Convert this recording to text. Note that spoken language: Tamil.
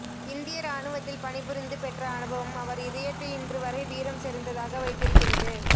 இந்திய இராணுவத்தில் பணி புரிந்து பெற்ற அனுபவம் அவர் இதயத்தை இன்று வரை வீரம் செறிந்ததாக வைத்திருக்கிறது